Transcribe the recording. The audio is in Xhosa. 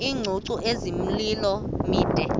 iingcungcu ezimilomo mide